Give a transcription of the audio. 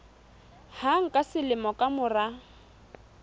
hang ka selemo ka mora